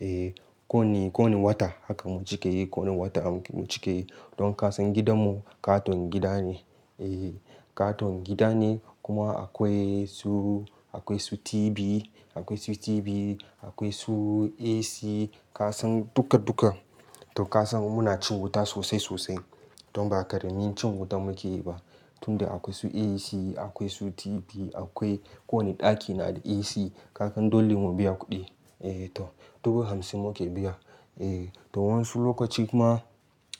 Eh ko wanne, ko wanne wata haka mu cike yi, kowane wata mu cike yi. Don kasan gidanmu katon gida ne, eh katon gida ne kuma akwai su, akwai su TV, akwai su TV, akwai su AC, kasan duka duka. To kasan muna cin wuta sosai sosai. Don ba ƙaramin cin wuta muke yi ba. Tunda akwai su AC, akwai su TV akwai, kowanne ɗaki na da AC. Kasan dole mu biya kuɗi. Eh to dubu hamsin muke biya. Eh to wasu lokaci kuma,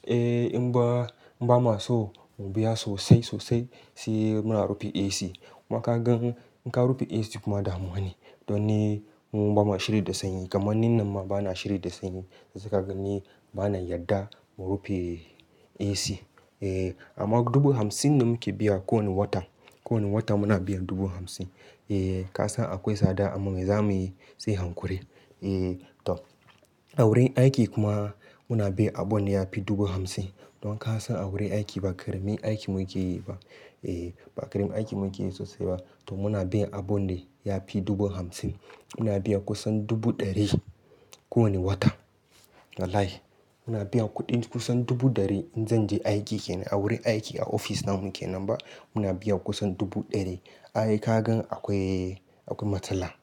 eh in ba, ba ma so mu biya sosai sosai sai muna rufe AC. Kuma ka gan in ka rufe AC kuma damuwa ne. Don ni mu ba ma shiri da sanyi, kamar ni nan ma ba na shiryi da sanyi. Sai ka ga ni bana yarda mu rufe AC. Eh amma dubu hamsin ne muke biya kowane wata. Kowane wata muna biyan dubu hamsin. Eh kasan akwai tsada amma zamuyi sai hankuri. Eh to a wurin aiki kuma muna biyan abun da yafi dubu hamsin. Don ka san a wurin aiki ba ƙaramin aiki mu ke yi ba. Eh ba ƙaramin aiki mu ke yi sosai ba. To muna biyan abun dacyafi dubu hamsin. Muna biyan kusan dubu ɗari kowane wata. Wallahi muna biyan kuɗin kusan dubu ɗari. In zan je aiki kenan, a wurin aiki a oficce namu kenan ba. Muna biyan kusan dubu ɗari. Ai ka gan akwai, akwai matsala.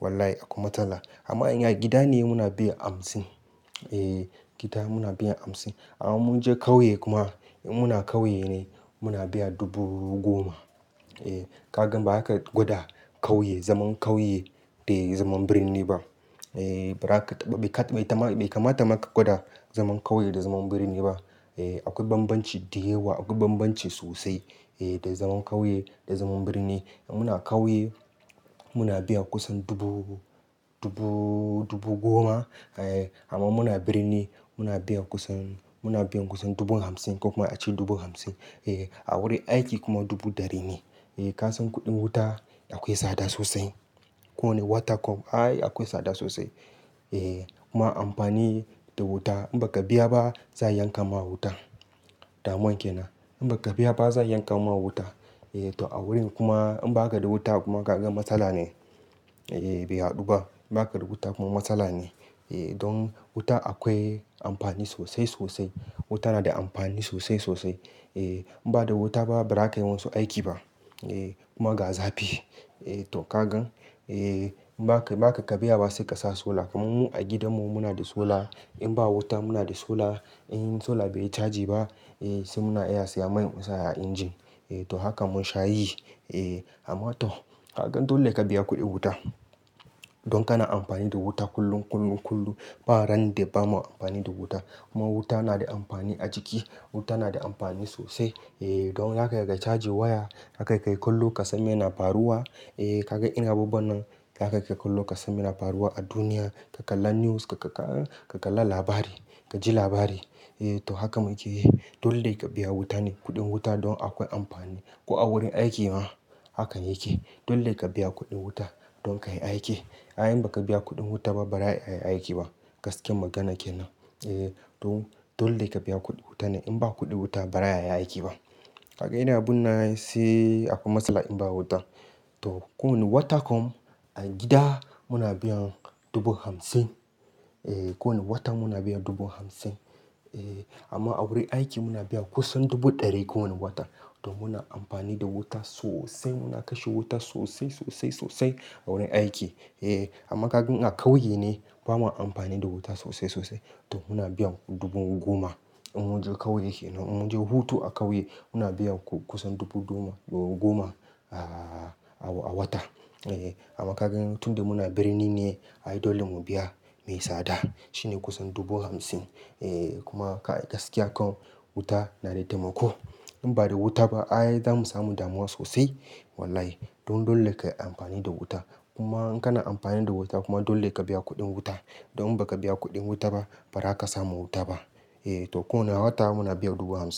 Wallahi akwai matsala. Amma in a gida ne muna biyan hamsin. Eh gida muna biyan hamsin. Amma mun je ƙauye kuma in muna ƙauye ne muna biyan dubu goma. Eh ka gan ba zaka ka gwada ƙauye, zaman kauye da zaman birni ba. Eh ba zaka, bai kamata mabka gwada zaman ƙauye da zaman birni ba. Eh akwai bambanci da yawa, akwai bambanci sosai. Eh da zaman ƙauye da zaman birni. In muna ƙauye muna biyan kusan dubu, dubu, dubu goma. Eh amma in muna birni muna biyan kusan, muna biyan kusan dubu hamsin ko kuma a ce dubu hamsin. Eh a wurin aiki kuma dubu ɗari ne. Eh kasan kuɗin wuta akwai tsada sosai. Ko wane wata kam ai akwai tsada sosai. Eh kuma amfani da wuta in baka biya ba za a yanka ma wuta. Damuwan kenan. In baka biya ba za a yanka ma wuta. Eh to a wurin kuma in baka da wuta kuma ka ga matsala ne. Eh bai haɗu ba. Baka da wuta kuma matsala ne. Eh don wuta akwai amfani sosai sosai. Wuta na da amfani sosai sosai. Eh in ba da wuta ba ba za ka yi wasu aiki ba. Eh kuma ga zafi. Eh to ka gan eh in ba ka, baka biya ba sai ka sa solar. Kuma mu a gidanmu muna da solar. In ba wuta muna da sola. In solar bai yi caji ba, eh sai muna iya siya mai mu sa a engine. Eh to haka mun sha yi. Eh amma to ka gan dole ka biya kuɗin wuta. Don kana amfani da wuta kullum, kullum, kullum. Ba ran da bamu amfani da wuta. Kuma wuta na da amfani a jiki. Wuta na da amfani sosai. Eh don haka ka haka kai cajin waya, haka kai kallo ka san me na faruwa. Eh ka ga irin abubuwan nan, za ka kai ka kallo ka san me na faruwa a duniya. Ka kalla news, ka kalla labari, ka ji labari. Eh to haka muke yi. Dole ka biya wuta ne, kuɗin wuta don akwai amfani. Ko a wurin aiki ma hakan yake. Dole ka biya kuɗin wuta don ka yi aiki. Ai in baka biya kuɗin wuta ba ba za ka yi aiki ba. Gaskiyar magana kenan. Eh to dole ka biya kuɗin wuta ne. In ba kuɗin wuta ba za a yi aiki ba. Ka ga ina binne, sai akwai matsala in ba wuta. To ko wane wata kuma a gida muna biyan dubu hamsin. Eh kowane wata muna biyan dubu hamsin. Eh amma a wurin aiki muna biyan kusan dubu ɗari kowane wata. To muna amfani da wuta sosai. Muna kashe wuta sosai sosai sosai a wurin aiki. Eh amma ka gan a ƙauye ne ba ma amfani da wuta sosai sosai. To muna biyan dubu goma. In mun je ƙauye kenan, in mun je hutu a ƙauye muna biyan kusan dubu goma a, a wata. Eh amma ka gan tun da muna birni ne, ai dole mu biya mai tsada. Shi ne kusan dubu hamsin. Eh kuma gaskiya ko wuta na da taimako. In ba da wuta ba ai za mu samu damuwa sosai. Wallahi don dole ka yi amfani da wuta. Kuma in kana amfani da wuta kuma dole ka biya kuɗin wuta. Don in baka biya kuɗin wuta ba, ba za ka samu wuta ba. Eh to kowane wata muna biyan dubu hamsin.